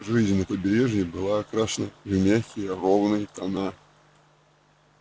жизнь на побережье была окрашена в мягкие ровные тона